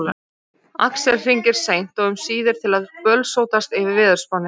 Axel hringir seint og um síðir til að bölsótast yfir veðurspánni.